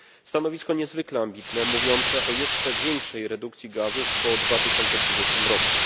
Stanowisko niezwykle ambitne, mówiące o jeszcze większej redukcji gazów po 2020 roku.